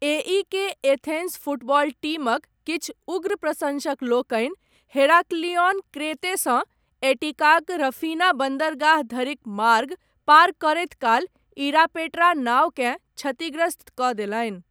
AEK. Athens football टीमक, किछु उग्र प्रशंसकलोकनि, हेराक्लिओन क्रेतेसँ, एटिकाक रफीना बन्दरगाह धरिक मार्ग, पार करैत काल 'इरापेट्रा' नाओकेँ क्षतिग्रस्तकऽ देलनि ।